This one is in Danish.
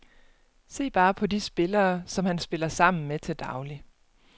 Se bare på de spillere, som han spiller sammen med til daglig.